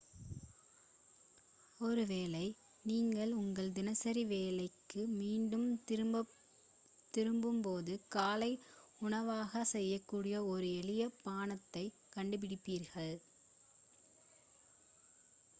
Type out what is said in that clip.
ஒருவேளை நீங்கள் உங்கள் தினசரி வேலைக்கு மீண்டும் திரும்பும்போது காலை உணவாகச் செய்யக்கூடிய ஒரு எளிய பானத்தைக் கண்டுபிடிப்பீர்கள்